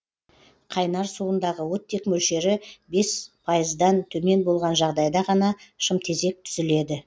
қайнар суындағы оттек мөлшері бес пайыздан төмен болған жағдайда ғана шымтезек түзіледі